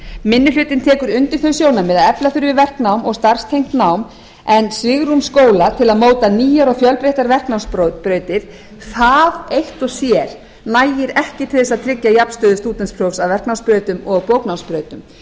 minni hlutinn tekur undir þau sjónarmið að efla þurfi verknám og starfstengt nám en svigrúm skóla til að móta nýjar og fjölbreyttar verknámsbrautir það eitt og sér nægir ekki til þess að tryggja jafnstöðu stúdentsprófs af verknámsbrautum og bóknámsbrautum